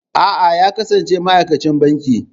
A'a, ya kasance ma'aikacin banki.